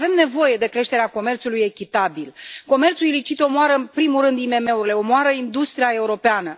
Avem nevoie de creșterea comerțului echitabil, comerțul ilicit omoară în primul rând IMM urile, omoară industria europeană.